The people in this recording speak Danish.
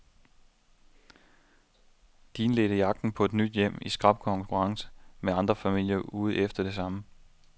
De indledte jagten på et nyt hjem i skrap konkurrence med andre familier ude efter det samme.